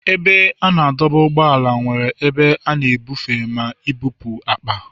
Ebe a na-adọba ụgbọala nwere ebe a na-ebufe na ibupu akpa.